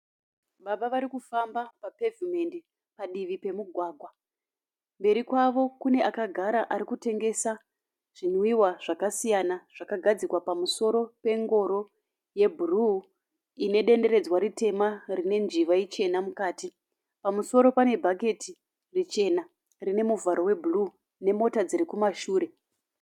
Baba vari kufamba papevhimendi padivi remugwagwa. Mberi kwavo kune akagara ari kutengesa zvimwiwa zvakasiyana zvakagadzikwa pamusoro pengoro yebhuruu ine denderedzwa ritema rine njiva ichena mukati. Pamusoro pane bhaketi richena rine muvharo webhuruu nemota dziri kumashure.